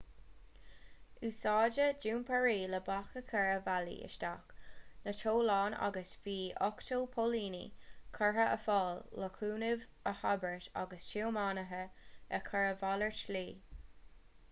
úsáideadh dumpairí le bac a chur ar bhealaí isteach na dtollán agus bhí 80 póilíní curtha ar fáil le cúnamh a thabhairt agus tiománaithe a chur ar mhalairt slí